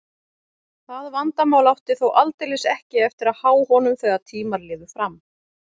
Það vandamál átti þó aldeilis ekki eftir að há honum þegar tímar liðu fram.